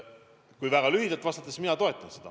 Kui väga lühidalt vastata, siis mina toetan seda.